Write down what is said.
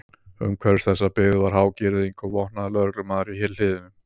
Umhverfis þessa byggð var há girðing og vopnaður lögreglumaður í hliðinu.